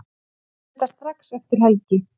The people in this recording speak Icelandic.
Funda strax eftir helgi